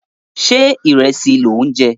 Ṣé ìrẹsì lò ń jẹ?